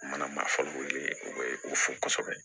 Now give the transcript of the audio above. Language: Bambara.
U mana marifaw ye u bɛ u fo kosɛbɛ